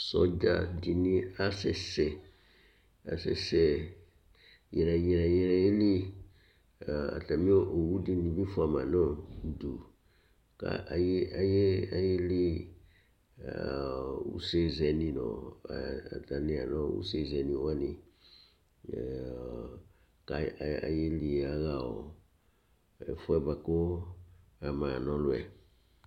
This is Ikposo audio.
Sɔdza dìní asɛsɛ, asɛsɛ nyrɛ nyrɛ nyrɛ ye li Atami owu dini bi fʋama nʋ ʋdu kʋ ayeli yaha ɛfʋɛ bʋakʋ ama na ɔlu yɛ